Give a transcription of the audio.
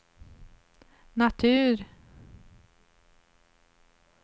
natur